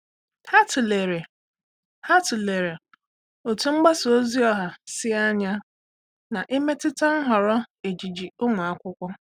Há tụ́lèrè Há tụ́lèrè otú mgbasa ozi ọha sí ányá n’ị́métụ́tá nhọrọ ejiji ụ́mụ́ ákwụ́kwọ́.